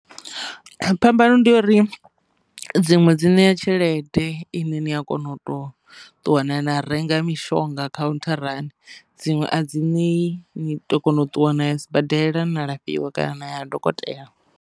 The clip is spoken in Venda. Phambano ndi ya uri dziṅwe dzi ṋea tshelede ine ni a kona u to ṱuwa na na renga mishonga khauntharani dziṅwe a dzi nei ni to kona u ṱuwa na ya sibadela na lafhiwe kana na ya dokotela.